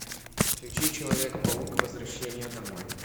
включи человек паук возвращение домой